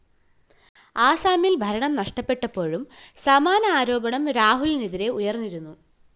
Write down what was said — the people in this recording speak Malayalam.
ആസാമില്‍ ഭരണം നഷ്ടപ്പെട്ടപ്പോഴും സമാന ആരോപണം രാഹുലിനെതിരെ ഉയര്‍ന്നിരുന്നു